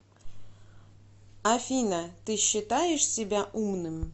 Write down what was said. афина ты считаешь себя умным